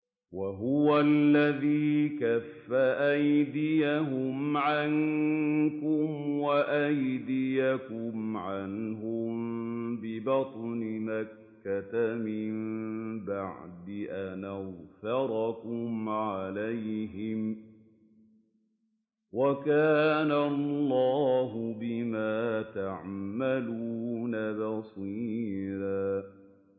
وَهُوَ الَّذِي كَفَّ أَيْدِيَهُمْ عَنكُمْ وَأَيْدِيَكُمْ عَنْهُم بِبَطْنِ مَكَّةَ مِن بَعْدِ أَنْ أَظْفَرَكُمْ عَلَيْهِمْ ۚ وَكَانَ اللَّهُ بِمَا تَعْمَلُونَ بَصِيرًا